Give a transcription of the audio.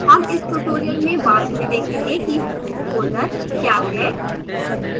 home इस tutorial में बाद में देखेंगे कि home folder we है